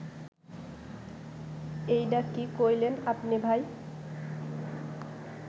এইডা কি কইলেন আপনে ভাই